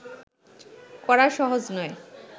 করা সহজ নয়